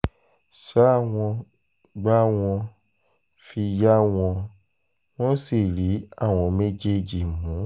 ṣá wọn gbá wọn fi yá wọn wọ́n sì rí àwọn méjèèjì mú